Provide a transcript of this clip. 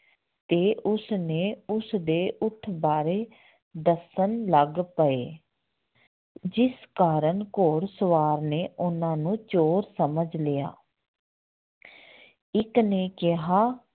ਤੇ ਉਸਨੇ ਉਸਦੇ ਊਠ ਬਾਰੇ ਦੱਸਣ ਲੱਗ ਪਏ ਜਿਸ ਕਾਰਨ ਘੋੜ ਸਵਾਰ ਨੇ ਉਹਨਾਂ ਨੂੰ ਚੋਰ ਸਮਝ ਲਿਆ ਇੱਕ ਨੇ ਕਿਹਾ